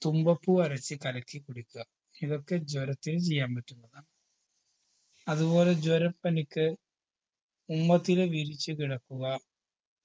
തുമ്പപ്പൂ അരച്ച് കലക്കി കുടിക്കുക ഇതൊക്കെ ജ്വരത്തിനു ചെയ്യാൻ പറ്റുന്നതാണ് അതുപോലെ ജ്വരപ്പനിക്ക് ഉമ്മത്തില വിരിച്ച് കിടക്കുക